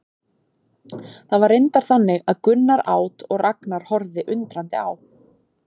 Það var reyndar þannig að Gunnar át og Ragnar horfði undrandi á.